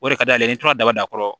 O de ka d'ale ye n'i taara daba da kɔrɔ